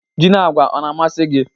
Ji na agwa ọ na-amasị gị?